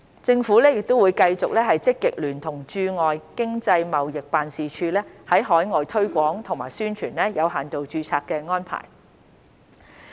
政府會繼續積極聯同駐外經濟貿易辦事處在海外推廣和宣傳有限度註冊安排。